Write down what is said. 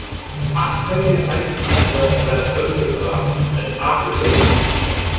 Af hverju ætti þetta að vera auðveldara en aðrir leikir?